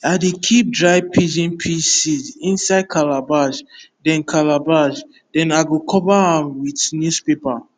i dey keep dry pigeon pea seed inside calabash then calabash then i go cover am with news paper